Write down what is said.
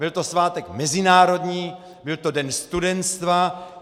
Byl to svátek mezinárodní, byl to den studentstva.